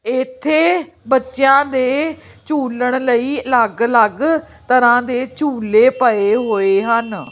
ਇੱਥੇ ਬੱਚਿਆਂ ਦੇ ਝੁੱਲਣ ਲਈ ਲੱਗ ਲੱਗ ਤਰ੍ਹਾਂ ਦੇ ਝੁੱਲੇ ਪਏ ਹੋਏ ਹਨ।